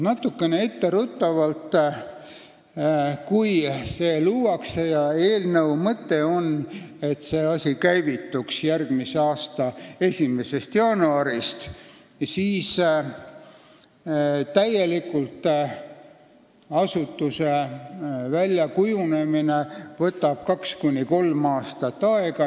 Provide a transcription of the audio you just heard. Natukene etteruttavalt ütlen, et kui see asutus luuakse – eelnõu mõte on, et see asi käivituks järgmise aasta 1. jaanuarist –, siis tuleb silmas pidada, et asutuse täielik väljakujunemine võtab kaks kuni kolm aastat aega.